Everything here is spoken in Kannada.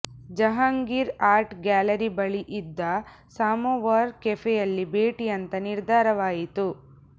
ಜಹಾಂಗೀರ್ ಆರ್ಟ್ ಗ್ಯಾಲರಿ ಬಳಿ ಇದ್ದ ಸಮೋವಾರ್ ಕೆಫೆಯಲ್ಲಿ ಭೇಟಿ ಅಂತ ನಿರ್ಧಾರವಾಯಿತು